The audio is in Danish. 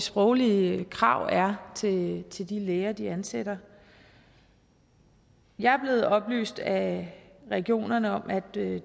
sproglige krav er til til de læger de ansætter jeg er blevet oplyst af regionerne om at det